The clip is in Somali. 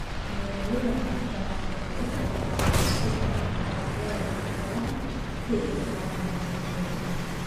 Beeralayda madaxa banaan waxay inta badan isku daraan dalagyada iyo xoolaha si ay u helaan dakhli kala duwan.